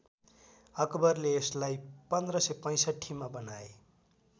अकबरले यसलाई १५६५ मा बनाए